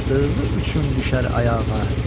axdığı üçün düşər ayağa.